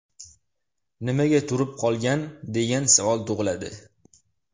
Nimaga turib qolgan, degan savol tug‘iladi.